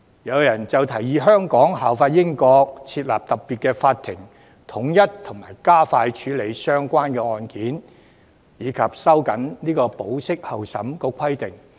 有人提議香港效法英國，設立特別法庭統一加快處理相關案件，以及收緊對保釋候審的規定。